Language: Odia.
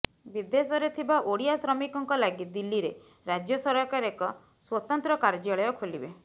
ବିଦେଶରେ ଥିବା ଓଡ଼ିଆ ଶ୍ରମିକଙ୍କ ଲାଗି ଦିଲ୍ଲୀରେ ରାଜ୍ୟ ସରକାର ଏକ ସ୍ୱତନ୍ତ୍ର କାର୍ଯ୍ୟାଳୟ ଖୋଲିବେ